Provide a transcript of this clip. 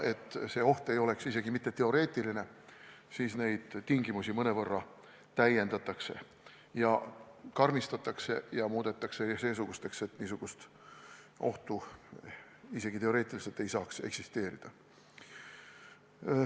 Et see oht ei oleks isegi mitte teoreetiline, siis neid tingimusi mõnevõrra täiendatakse ja karmistatakse, st muudetakse seesugusteks, et niisugust ohtu ei saaks isegi teoreetiliselt eksisteerida.